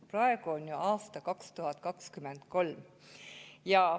Praegu on aasta 2023.